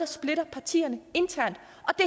splitter partierne internt